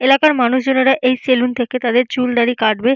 এলাকার মানুষজনেরা এই স্যালুন থেকে তাদের চুল দাড়ি কাটবে।